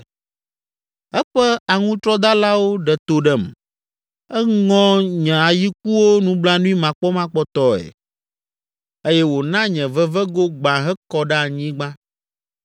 eƒe aŋutrɔdalawo ɖe to ɖem. Eŋɔ nye ayikuwo nublanuimakpɔmakpɔtɔe eye wòna nye vevego gbã hekɔ ɖe anyigba.